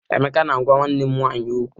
Emeka na-agwa nwanne m nwanyị okwu.